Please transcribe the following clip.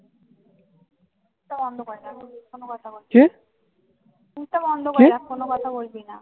মুখটা বন্ধ করে আর কোনো কথা বলছি না